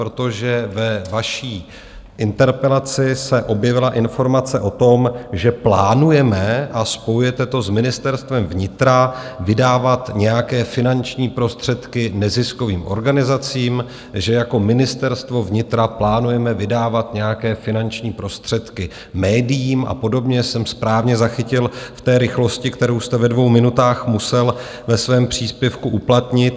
Protože ve vaší interpelaci se objevila informace o tom, že plánujeme, a spojujete to s Ministerstvem vnitra, vydávat nějaké finanční prostředky neziskovým organizacím, že jako Ministerstvo vnitra plánujeme vydávat nějaké finanční prostředky médiím a podobně, jsem správně zachytil v té rychlosti, kterou jste ve dvou minutách musel ve svém příspěvku uplatnit.